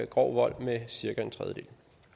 grov vold med cirka en tredjedel